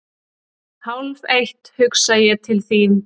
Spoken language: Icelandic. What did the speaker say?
Hálfeitt hugsa ég til þín.